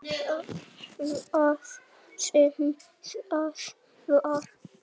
Hvað sem það var.